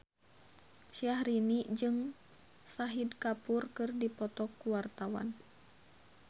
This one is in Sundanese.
Syahrini jeung Shahid Kapoor keur dipoto ku wartawan